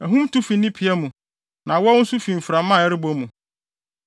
Ahum tu fi ne pia mu, na awɔw nso fi mframa a ɛrebɔ mu.